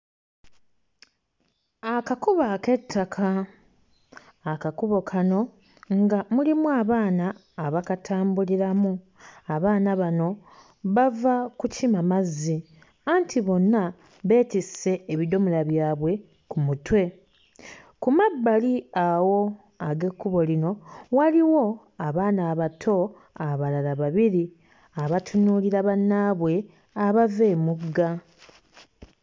Akakubo ak'ettaka, akakubo kano nga mulimu abaana abakatambuliramu. Abaana bano bava kukima mazzi anti bonna beetisse ebidomola byabwe ku mutwe. Ku mabbali awo ag'ekkubo lino waaliwo abaana abato abalala babiri abatunuulira bannaabwe abava emugga.